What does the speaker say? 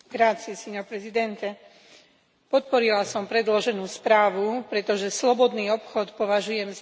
Podporila som predloženú správu, pretože slobodný obchod považujem za dôležitý predpoklad blahobytu.